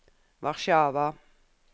Warszawa